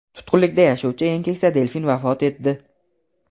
Tutqunlikda yashovchi eng keksa delfin vafot etdi.